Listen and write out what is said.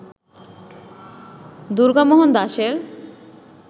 দুর্গামোহন দাশের